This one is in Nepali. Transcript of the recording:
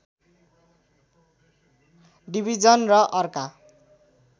डिविजन र अर्का